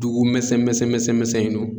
Dugu mɛsɛn mɛsɛn mɛsɛnnu